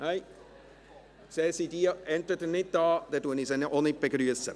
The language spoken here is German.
– Nein, sie sind nicht da, dann begrüsse ich sie auch nicht.